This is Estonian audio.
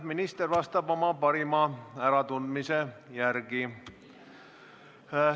Minister vastab oma parima äratundmise järgi.